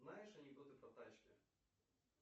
знаешь анекдоты про тачки